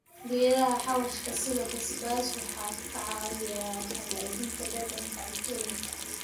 Geedaha xawaashka sida basbaas waxay ka caawiyaan hagaajinta dhadhanka cuntooyinka.